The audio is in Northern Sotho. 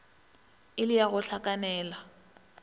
e le la go hlakanela